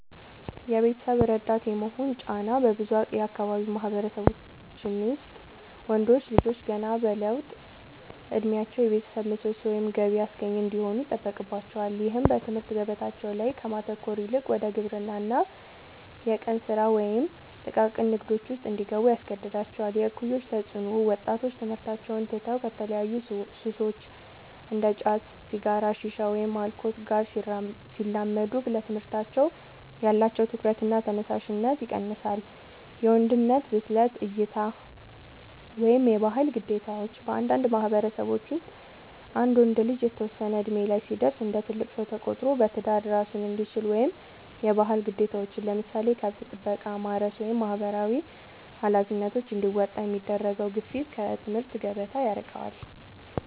የቤተሰብ ረዳት የመሆን ጫና፦ በብዙ የአካባቢው ማህበረሰቦች ውስጥ ወንዶች ልጆች ገና በለውጥ እድሜያቸው የቤተሰብ ምሰሶ ወይም ገቢ አስገኚ እንዲሆኑ ይጠበቅባቸዋል። ይህም በትምህርት ገበታቸው ላይ ከማተኮር ይልቅ ወደ ግብርና፣ የቀን ስራ ወይም ጥቃቅን ንግዶች ውስጥ እንዲገቡ ያስገድዳቸዋል። የእኩዮች ተፅዕኖ፦ ወጣቶች ትምህርታቸውን ትተው ከተለያዩ ሱሶች (እንደ ጫት፣ ሲጋራ፣ ሺሻ ወይም አልኮል) ጋር ሲላመዱ ለትምህርታቸው ያላቸው ትኩረትና ተነሳሽነት ይቀንሳል። የወንድነት ብስለት እይታ (የባህል ግዴታዎች)፦ በአንዳንድ ማህበረሰቦች ውስጥ አንድ ወንድ ልጅ የተወሰነ እድሜ ላይ ሲደርስ እንደ ትልቅ ሰው ተቆጥሮ በትዳር እራሱን እንዲችል ወይም የባህል ግዴታዎችን (ለምሳሌ ከብት ጥበቃ፣ ማረስ ወይም ማህበራዊ ኃላፊነቶች) እንዲወጣ የሚደረገው ግፊት ከትምህርት ገበታ ያርቀዋል።